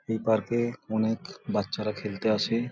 এই পার্ক এ অনেক বাচ্চারা খেলতে আসে।